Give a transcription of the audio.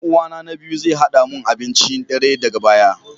Dan uwana na biyu zai hada mu da abincin dare daga baya